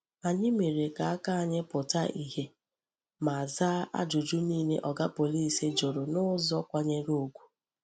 Anyị mere ka aka anyị pụta ìhè ma zaa ajụjụ niile Oga Pọlịs jụrụ n’ụzọ kwanyere ugwu.